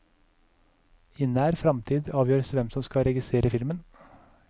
I nær fremtid avgjøres hvem som skal regissere filmen.